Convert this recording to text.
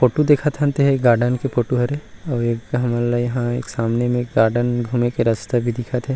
Photo दिखत हन तेहा गार्डन के फोटो हरे अऊ एक हमन ल यहाँ सामने में गार्डन घूमे के रस्ता भी दिखत हे।